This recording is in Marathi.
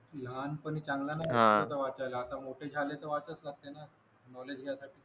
लहानपणी चांगलं नाही वाटत वाचायला आता मोठे वाटच लागते ना